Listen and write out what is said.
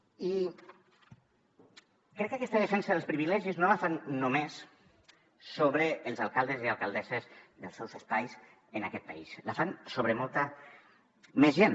i crec que aquesta defensa dels privilegis no la fan només sobre els alcaldes i alcaldesses dels seus espais en aquest país la fan sobre molta més gent